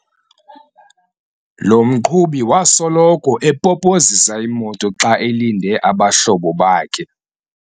Lo mqhubi wasoloko epopozisa imoto xa elinde abahlobo bakhe.